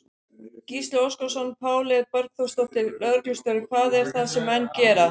Gísli Óskarsson: Páley Borgþórsdóttir, lögreglustjóri, hvað er það sem menn gera?